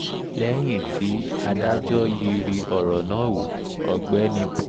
lẹ́yìn tí adájọ́ yiiri ọ̀rọ̀ náà wọ ọ̀gbẹ́ni p